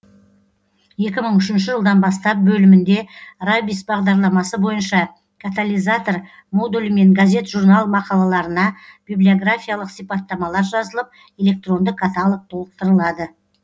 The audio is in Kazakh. екі мың үшінші жылдан бастап бөлімінде рабис бағдарламасы бойынша католизатор модулімен газет журнал мақалаларына библиографиялық сипаттамалар жазылып электронды каталог толықтырылады